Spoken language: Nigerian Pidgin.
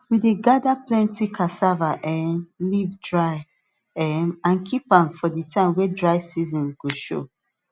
we dey gather plenty cassava um leaf dry um am keep am for the time wey dry season go show